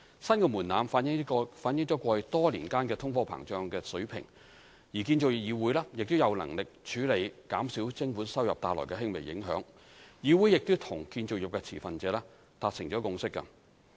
新的門檻反映過去多年間通貨膨脹的水平，而建造業議會亦有能力處理減少徵款收入帶來的輕微影響，議會亦與建造業持份者達成共識。